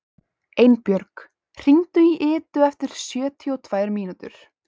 Einbjörg, hringdu í Idu eftir sjötíu og tvær mínútur.